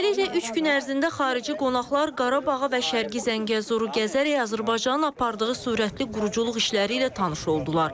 Beləliklə, üç gün ərzində xarici qonaqlar Qarabağı və Şərqi Zəngəzuru gəzərək Azərbaycanın apardığı sürətli quruculuq işləri ilə tanış oldular.